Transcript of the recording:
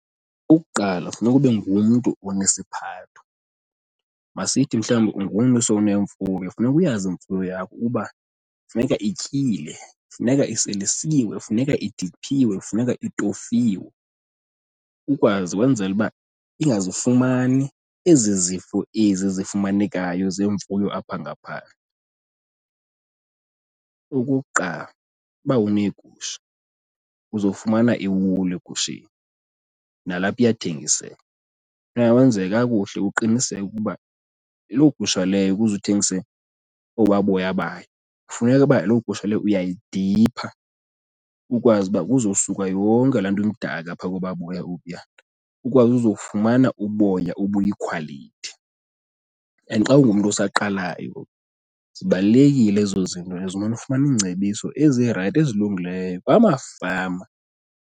Okokuqala, funeka ube ngumntu onesiphatho. Masithi mhlawumbi ungumntu osowunemfuyo, funeka uyazi imfuyo yakho uba funeka ityile, funeka iselisiwe, funeka idiphiwe, kufuneka iitofiwe. Ukwazi kwenzele uba ingazifumani ezi zifo ezi zifumanekayo zeemfuyo apha ngaphandle. Okokuqala uba uneegusha uzofumana iwulu egusheni, nalapha iyathengiseka. Funeka wenze kakuhle uqiniseke ukuba loo gusha leyo ukuze uthengise obaa boya bayo, kufuneka uba loo gusha leyo uyayidipha ukwazi uba kuzosuka yonke laa nto imdaka phaa koba boya obuya ukwazi uzofumana uboya obuyikhwalithi. And xa ungumntu osaqalayo, zibalulekile ezo zinto ezo, umane ufumana iingcebiso ezirayithi ezilungileyo kwamafama.